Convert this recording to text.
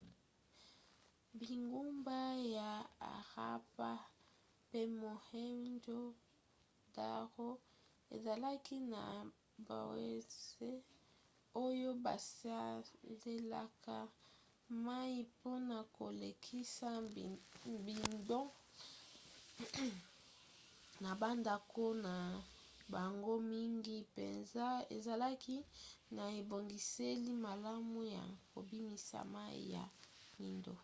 bingumba ya harappa pe mohenjo-daro ezalaki na bawese oyo basalelaka mai mpona kolekisa mbindo na bandako na bango mingi mpenza ezalaki na ebongiseli malamu ya kobimisa mai ya mbindo